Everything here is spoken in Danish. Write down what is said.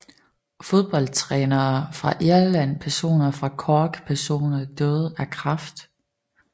Fodboldtrænere fra Irland Personer fra Cork Personer døde af kræft